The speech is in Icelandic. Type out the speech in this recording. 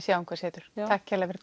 sjáum hvað setur takk kærlega fyrir